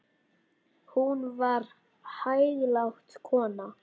Hún var hæglát kona.